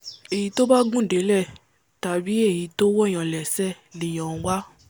èyí tó bá gùn délẹ̀ tàbí èyí to wọ̀’yàn lẹ́sẹ̀ l’èyàn ń wá